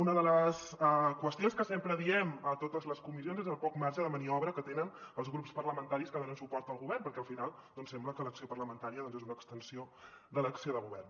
una de les qüestions que sempre diem a totes les comissions és el poc marge de maniobra que tenen els grups parlamentaris que donen suport al govern perquè al final sembla que l’acció parlamentària doncs és una extensió de l’acció de govern